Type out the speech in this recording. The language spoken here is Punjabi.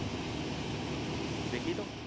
ਵੇਖੀ ਤੂੰ